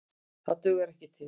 Það dugar ekki til.